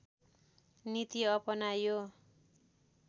नीति अपनायो